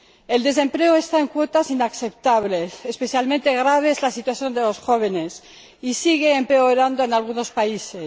El desempleo alcanza cotas inaceptables —especialmente grave es la situación de los jóvenes— y sigue empeorando en algunos países.